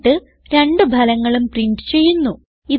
എന്നിട്ട് രണ്ട് ഫലങ്ങളും പ്രിന്റ് ചെയ്യുന്നു